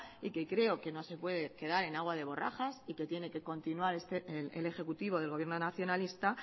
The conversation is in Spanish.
y que creo que no se puede quedar en aguas de borrajas y que tiene que continuar el ejecutivo del gobierno nacionalista